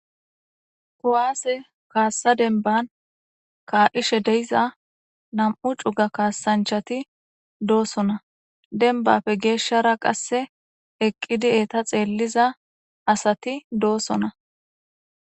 kowaase kaassa denban kaaldishe deyiza nam7u cuga kaasanchati doosona denbappe geeshshara qasse eqqidi eeta xeelliza asati doosona.